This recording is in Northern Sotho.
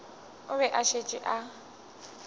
o be a šetše a